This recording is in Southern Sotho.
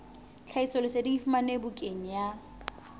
tlhahisoleseding e fumanwe bukaneng ya